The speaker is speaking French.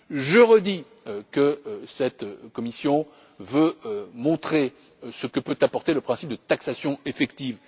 Je redis que cette Commission veut montrer ce que peut apporter le principe de taxation effective.